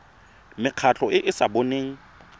mekgatlho e e sa boneng